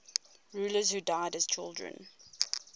rulers who died as children